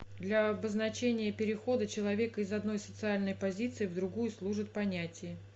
для обозначения перехода человека из одной социальной позиции в другую служит понятие